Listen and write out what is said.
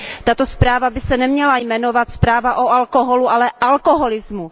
Tato zpráva by se neměla jmenovat Zpráva o alkoholu, ale alkoholismu.